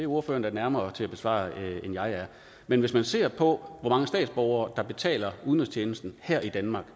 ordføreren da nærmere til at besvare end jeg er men hvis man ser på hvor mange statsborgere der betaler udenrigstjenesten her i danmark